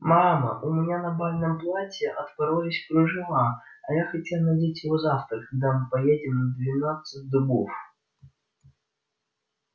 мама у меня на бальном платье отпоролись кружева а я хотела надеть его завтра когда мы поедем в двенадцать дубов